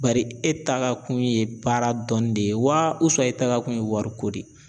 Bari e tagakun ye baara dɔnni de ye wa e taakun ye wariko de ye